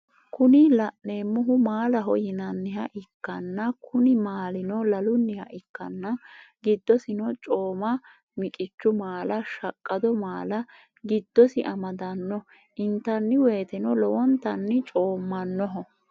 Kuni lanemohu mallaho yinaniha ikana kuni malino laluniha ikana gidosino comma, mikichu malla, shaqqado malla gidosi amadano intaniwoyiteno lowonitani commanoho.